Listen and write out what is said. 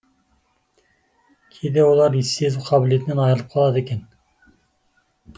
кейде олар иіс сезу қабілетінен айырылып қалады екен